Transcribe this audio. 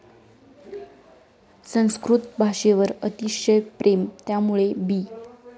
संस्कृत भाषेवर अतिशय प्रेम, त्यामुळे बी